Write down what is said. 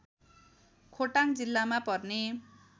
खोटाङ जिल्लामा पर्ने